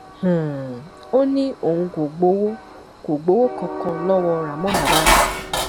um ó ní òun kò gbowó kò gbowó kankan lọwọ ramon abas